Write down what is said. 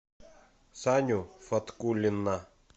саню фаткуллина